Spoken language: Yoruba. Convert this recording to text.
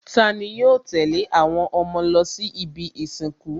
Tani yóò tẹ̀lé àwọn ọmọ lọ sí ibi ìsìnkú?